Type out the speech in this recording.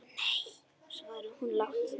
Nei, svaraði hún lágt.